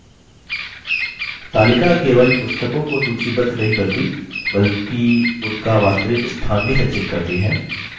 तालिका केवल पुस्तकों को सूचीबद्ध नहीं करती बल्कि उनका वास्तविक स्थान भी संचित करती है